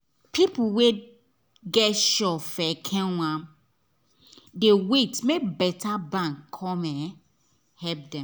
people wey get shop for ekenwan dey wait make better bank come help them